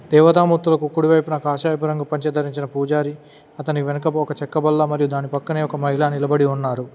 దేవతామూర్తులకు కుడివైపున కాషాయపు రంగు పంచ ధరించిన పూజారి అతని వెనుకకు ఒక చెక్క బల్ల మరియు దాని పక్కనే ఒక మహిళ నిలబడి ఉన్నారు.